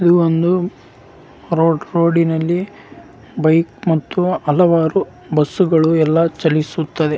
ಸುತ್ತ ಅಹ್ ಮರಗಳಲ್ಲಿ ಅದು ಕಪ್ಪು ಬಣ್ಣದ್ದಾಗಿ ಕಾಣುತ್ತದೆ.